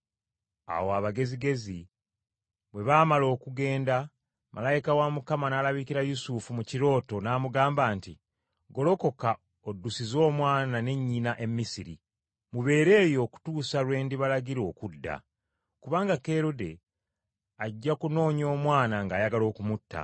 Awo abagezigezi bwe baamala okugenda, malayika wa Mukama n’alabikira Yusufu mu kirooto n’amugamba nti, “Golokoka oddusize Omwana ne nnyina e Misiri, mubeere eyo okutuusa lwe ndibalagira okudda. Kubanga Kerode ajja kunoonya Omwana ng’ayagala okumutta.”